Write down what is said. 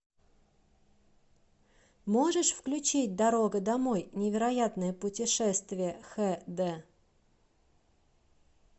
можешь включить дорога домой невероятное путешествие х д